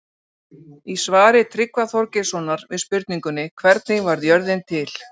Í svari Tryggva Þorgeirssonar við spurningunni Hvernig varð jörðin til?